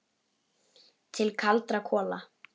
Til kaldra kola.